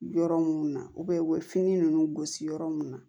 Yɔrɔ mun na u bɛ fini ninnu gosi yɔrɔ mun na